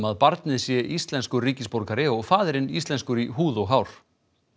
að barnið sé íslenskur ríkisborgari og faðirinn íslenskur í húð og hár